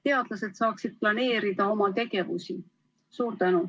Teadlased saaksid siis oma tegevust planeerida.